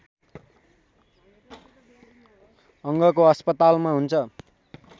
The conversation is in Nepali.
अङ्गको अस्पतालमा हुन्छ